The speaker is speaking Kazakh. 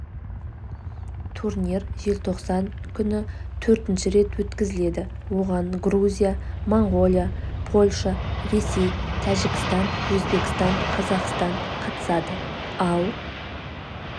турнир желтоқсан күні төртінші рет өткізіледі оған грузия моңғолия польша ресей тәжікстан өзбекстан қазақстан қатысады ал